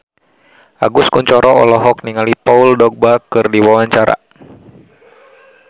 Agus Kuncoro olohok ningali Paul Dogba keur diwawancara